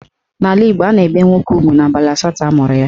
N'ala Igbo, a na-ebe nwoke ugwu n'abalị asatọ amụrụ ya.